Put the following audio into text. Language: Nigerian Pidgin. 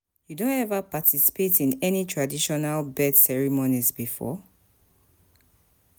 You don ever participate in any traditional birth ceremonies before?